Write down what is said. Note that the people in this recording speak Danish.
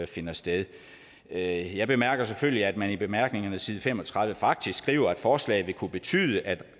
finder sted jeg jeg bemærker selvfølgelig at man i bemærkningerne på side fem og tredive faktisk skriver at forslaget vil kunne betyde at